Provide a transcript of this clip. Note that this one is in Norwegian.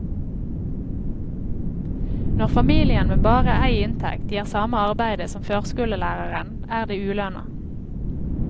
Når familien med bare ei inntekt gjer same arbeidet som førskolelæraren, er det uløna.